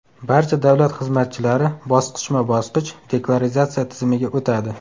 Barcha davlat xizmatchilari bosqichma-bosqich deklaratsiya tizimiga o‘tadi.